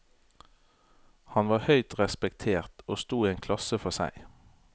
Han var høyt respektert og sto i en klasse for seg.